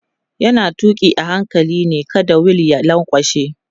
yana tuki a hankali ne kada wheel ya lankwashe